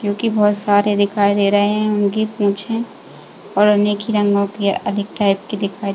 क्योंकी बहोत सारे दिखाई दे रहे हैं। उनकी पूंछे और उनमे एक ही रंगो के अधिक टाइप की दिखाई --